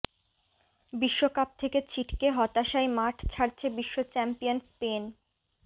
বিশ্বকাপ থেকে ছিটকে হতাশায় মাঠ ছাড়ছে বিশ্বচ্যাম্পিয়ন স্পেন